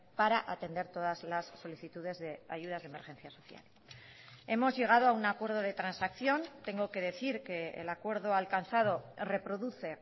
para atender todas las solicitudes de ayudas de emergencias social hemos llegado a un acuerdo de transacción tengo que decir que el acuerdo alcanzado reproduce